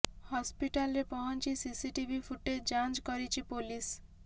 ହସପିଟାଲରେ ପହଞ୍ଚି CC TV footage ଯାଂଚ କରିଛି ପୋଲିସ